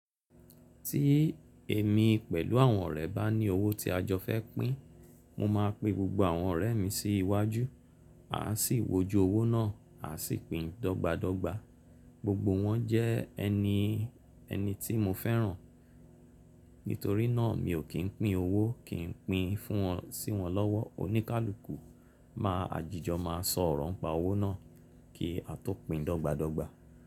Tí èmi pẹ̀lú àwọn ọ̀rẹ́ bá ní owó tí a jọ fẹ́ pín, mo máa pe gbogbo àwọn ọ̀rẹ́ mi sí iwájú, a sì wójú owó náà, a sì pín dogbadogba. Gbogbo wọn jẹ́ ẹni tí mo fẹ́ràn. Nítorí náà mi ò kí n pín owó, kí n pín fún wọn sí wọn lọ́wọ́. Oníkálukú máa àjìjọ máa sọ ọ̀rọ̀ ń pa owó náà kí a tó pín dogbadogba.